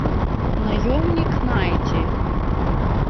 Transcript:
наемник найти